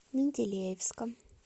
менделеевском